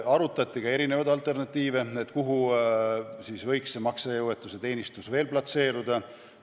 Arutati ka alternatiive, näiteks seda, kuhu võiks see maksejõuetuse teenistus veel platseeruda.